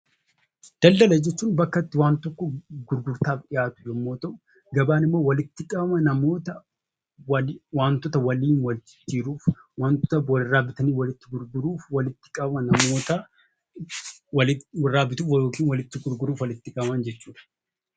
Daldala jechuun bakka itti wanta tokko gurgurtaaf dhiyaatu yommuu ta'u, gabaan immoo walitti qabama namoota wantoota walirraa bituu fi gurguruuf walitti qabaman jechuudha.